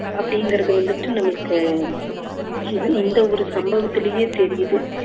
அப்படிங்குறது வந்துட்டு நம்மளுக்கு இது இந்த ஒரு சம்பவத்துலேயே தெரியுது